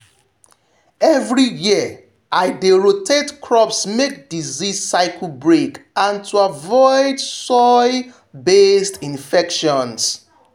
every year i dey rotate crops make disease cycle break and to avoid soil-based infections.